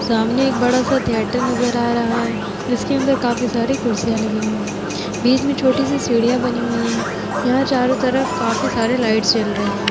सामने एक बड़ा सा थिएटर नजर आ रहा है जिसके अंदर काफी सारी कुर्सियाँ लगी हुई है बीच में छोटी सी सीढ़ियाँ बनी हुई है यहाँ चारों तरफ काफी सारे लाइटस जल रहे हैं।